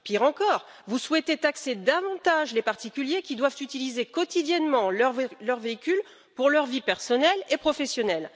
Pire encore vous souhaitez taxer davantage les particuliers qui doivent utiliser quotidiennement leur véhicule pour leur vie personnelle et professionnelle.